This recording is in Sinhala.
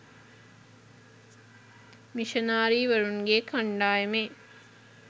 මිෂනාරී වරුන් ගේ කණ්ඩායමේ